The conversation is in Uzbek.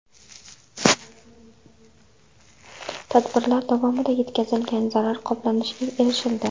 Tadbirlar davomida yetkazilgan zarar qoplanishiga erishildi.